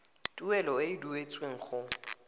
tuelo e e duetsweng go